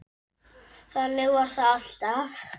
Þannig var það alltaf.